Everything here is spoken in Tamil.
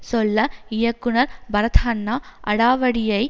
சொல்ல இயக்குனர் பரத்ஹன்னா அடாவடியை